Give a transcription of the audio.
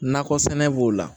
Nakɔ sɛnɛ b'o la